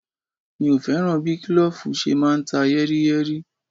Mi ò fẹ́ràn bí kílòfù ṣe máa ń ta yẹ́ríyẹ́rí